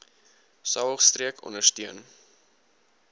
saog streek ondersteun